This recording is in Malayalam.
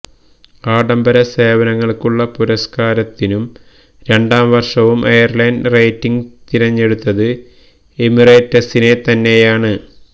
ആഡംബര സേവനങ്ങള്ക്കുള്ള പുരസ്കാരത്തിനു രണ്ടാം വര്ഷവും എയര് ലൈന് റേറ്റിംഗ് തിരഞ്ഞെടുത്തത് എമിറേറ്റ്സിനെതന്നെയാണ്